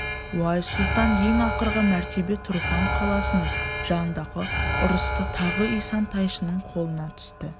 уайс сұлтан ең ақырғы мәртебе тұрфан қаласының жанындағы ұрыста тағы исан-тайшаның қолына түсті